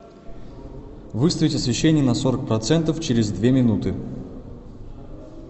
выставить освещение на сорок процентов через две минуты